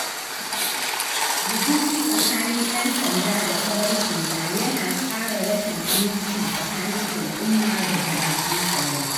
Rikici tsakanin ƴan sanda da farar hula yana ƙara rashin aminci tsakanin al'umma da jami’an tsaro.